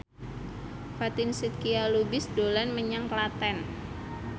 Fatin Shidqia Lubis dolan menyang Klaten